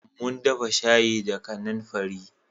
Mun dafa shayi da kanamfari